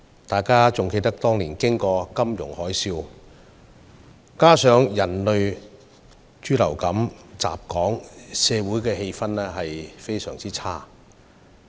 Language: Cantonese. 大家應該還記得當年香港經歷金融海嘯，再加上人類豬流感襲港，社會氣氛相當差。